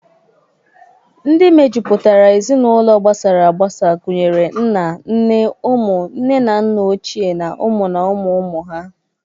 Ndị mejupụtara Ezinaụlọ gbasara agbasa gunyere nna, nne, ụmụ, nne na nna ochie na ụmụ na ụmụ ụmụ ha.